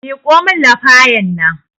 Miƙo min lafayan nan